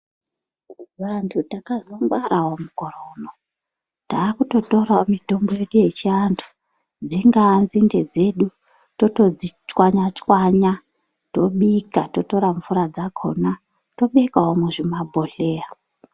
Vantu takazongwarawo mukore uno. Takutotorawo mitombo yedu yechiantu dzingaa nzinde dzedu totodzichwanya-chwanya tobika , totora mvura dzakhona tobekawo muzvimabhodhleya.